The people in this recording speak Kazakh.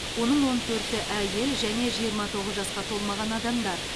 оның он төрті әйел және жиырма тоғыз жасқа толмаған адамдар